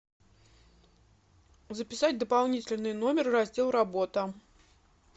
записать дополнительный номер в раздел работа